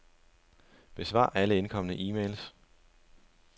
Besvar alle indkomne e-mails.